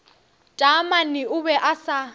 taamane o be a sa